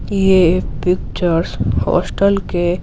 यह pictures hostel के --